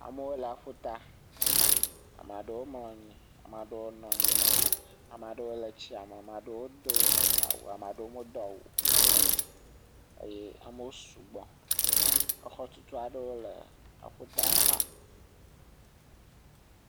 Amewo le aƒuta ame aɖewo mlɔ anyi ɖewo nɔ anyi ame aɖewo le tsiame ame aɖewo do awu ame aɖewo medo awu o amewo sugbɔ xɔtutu aɖe le aƒuta xa